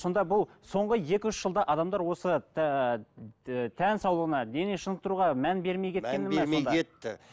сонда бұл соңғы екі үш жылда адамдар осы ііі тән саулығына дене шынықтыруға мән бермей кеткені мән бермей кетті